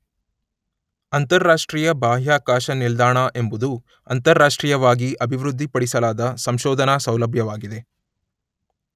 ಅಂತರರಾಷ್ಟ್ರೀಯ ಬಾಹ್ಯಾಕಾಶ ನಿಲ್ದಾಣ ಎಂಬುದು ಅಂತರರಾಷ್ಟ್ರೀಯವಾಗಿ ಅಭಿವೃದ್ಧಿಪಡಿಸಲಾದ ಸಂಶೋಧನಾ ಸೌಲಭ್ಯವಾಗಿದೆ